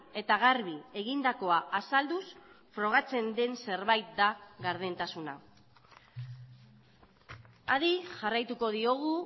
eta garbi egindakoa azalduz frogatzen den zerbait da gardentasuna adi jarraituko diogu